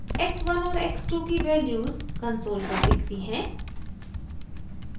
x1 और x2 की values console पर दिखती हैं